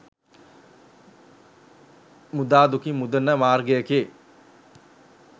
මුදා දුකින් මුදන මාර්ගයකි.